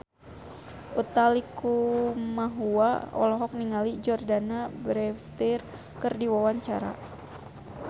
Utha Likumahua olohok ningali Jordana Brewster keur diwawancara